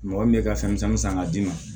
Mɔgɔ min bɛ ka fɛn misɛnnin san k'a d'i ma